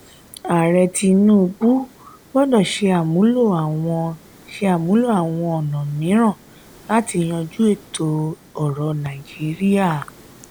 ààrẹ tinubu gbọdọ ṣe àmúlò àwọn ṣe àmúlò àwọn ọnà mìíràn láti yanjú ìṣòro ètò orò nàìjíríà.